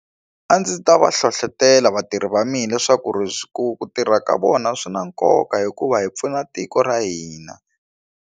A ndzi ta va hlohlotelo vatirhi va mina leswaku ri ku tirha ka vona swi na nkoka hikuva hi pfuna tiko ra hina.